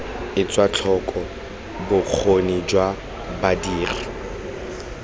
etswe tlhoko bokgoni jwa badiri